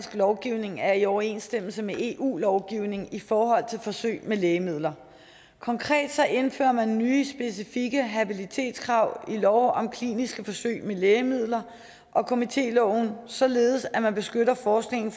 lovgivning er i overensstemmelse med eu lovgivningen i forhold til forsøg med lægemidler konkret indfører man nye specifikke habilitetskrav i lov om kliniske forsøg med lægemidler og komitéloven således at man beskytter forskningen